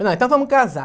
Não, então vamo casar.